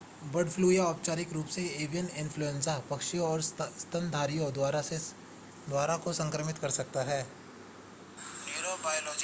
bird flu या औपचारिक रूप से एवियन इन्फ्लूएंजा पक्षियों और स्तनधारियों दोनों को संक्रमित कर सकता है